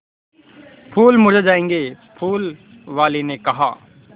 फूल मुरझा जायेंगे फूल वाली ने कहा